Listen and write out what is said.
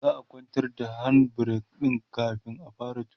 za'a kwantar da hand break kamin a fara tuki